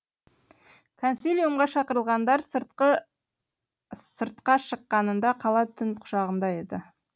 консилиумға шақырылғандар сыртқа шыққанында қала түн құшағында еді